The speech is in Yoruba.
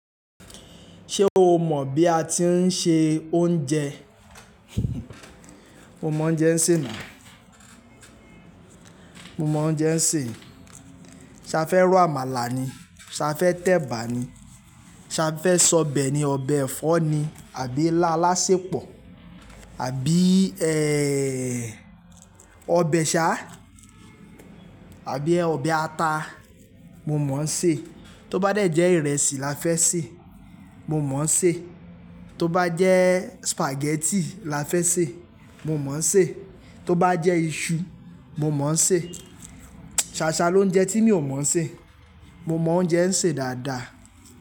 Ṣé o mọ̀ bí a ti ń se oúnjẹ? Mo mọ oúnjẹ ń ṣe ná. Mo mọ oúnjẹ ń ṣe. Ṣa fẹ́ ro àmàlà ni, ṣa fẹ́ tẹ̀bà ni, ṣa fẹ́ sọ bẹ ni, ọbẹ̀ ẹ̀fọ́ ni àbí ilà álàsẹpọ̀, àbí ẹ́ ọbẹ̀ ṣá, àbí ẹ́ ọbẹ̀ ata, mo mọ ń ṣe. Tó bá jẹ́ ìrẹsì la fẹ́ sè, mo mọ ń ṣe. Tó bá jẹ́ spaghetti la fẹ́ sè, mo mọ ń ṣe. Tó bá jẹ́ iṣu, mo mọ ń ṣe. Ṣa aṣa ló ń jẹ tí mi ò mọ ń ṣe. Mo mọ oúnjẹ ń ṣe dáadáa.